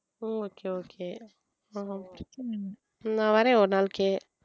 okay okay நான் வரேன் ஒரு நாளைக்கு